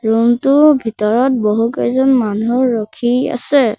Room টো ভিতৰত বহুকেইজন মানুহ ৰখি আছে।